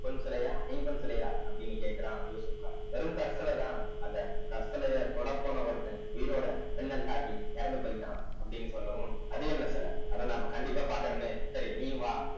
பொன் சிலையா ஐம்பொன் சிலையா அப்படின்னு கேட்கிறான் யூசுப்கான் வெறும் கற்சலைதான் அந்த கற்சலையை தொடப்போன ஒருத்தன் உயிரோட மின்னல் தாக்கி இறந்து போயிட்டான் அப்படின்னு சொல்லவும் அது என்ன சிலை அத நாம கண்டிப்பா பார்க்கணுமே சரி நீயும் வா